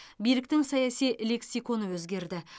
биліктің саяси лексиконы өзгерді